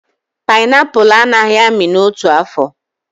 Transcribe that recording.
Panaipụlụ a naghị amị n'otu afọ